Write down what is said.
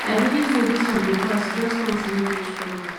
i believe say dis one go pass e just come to make me stronger